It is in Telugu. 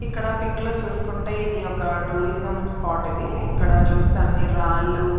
ఇక్కడ పిక్ లో చూసుకుంటే ఇది ఒక టూరిజం స్పాట్ . ఇది ఇక్కడ చూస్తే అన్ని రాళ్లు --